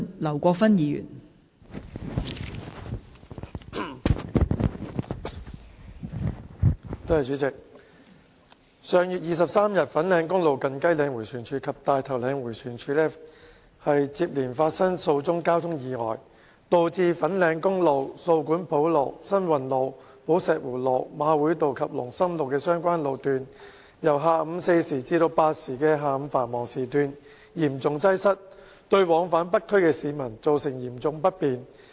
代理主席，上月23日，粉嶺公路近雞嶺迴旋處及大頭嶺迴旋處接連發生數宗交通意外，導致粉嶺公路、掃管埔路、新運路、寶石湖路、馬會道及龍琛路的相關路段由下午四時至八時的下午繁忙時段嚴重擠塞，對往返北區的市民造成嚴重不便。